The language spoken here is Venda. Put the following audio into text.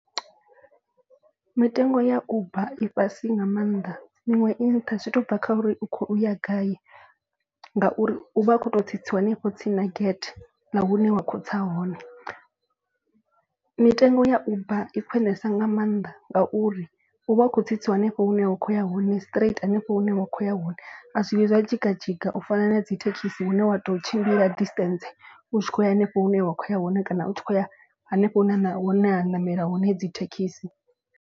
Mitengo ya uber i fhasi nga maanḓa miṅwe i nṱha zwi to bva kha uri u khou ya gai. Ngauri u vha u kho to tsitsiwa hanefho tsini na gate ya hune wa kho tsa hone. Mitengo ya uber i khwinesa nga mannḓa ngauri u vha u khou tsitsiwa hanefho hune wa kho ya hone straight hanefho hune wa kho ya hone. A zwi vhuyi zwa dzhiga dzhiga u fana na dzi thekhisi hune wa to tshimbila distance u tshi khou ya henefho hune wa khou ya hone. Kana u tshi khou ya hanefho hune na hune ha nameliwa hone hedzi thekhisi.